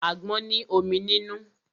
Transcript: Àgbọn ní omi nínú.